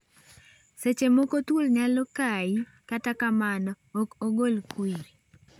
Seche moko thuol nyalo kai kata kamano ok ogol kwiri.